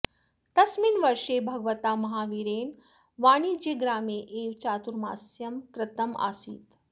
तस्मिन् वर्षे भगवता महावीरेण वाणिज्यग्रामे एव चातुर्मास्यं कृतम् आसीत्